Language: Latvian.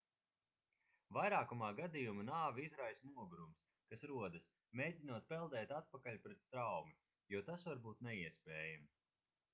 vairākumā gadījumu nāvi izraisa nogurums kas rodas mēģinot peldēt atpakaļ pret straumi jo tas var būt neiespējami